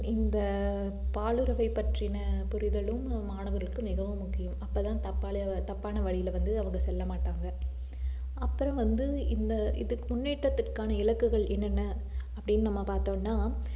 இந்த ஆஹ் பாலுறவைப் பற்றின புரிதலும் மாணவருக்கு மிகவும் முக்கியம் அப்பதான் தப்பால~ தப்பான வழியிலே வந்து அவங்க செல்லமாட்டாங்க அப்புறம் வந்து இந்த இதுக்கு முன்னேற்றத்திற்கான இலக்குகள் என்னென்ன அப்படின்னு நம்ம பார்த்தோம்னா